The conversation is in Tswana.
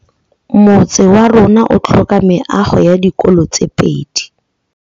Motse warona o tlhoka meago ya dikolô tse pedi.